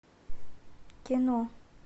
кино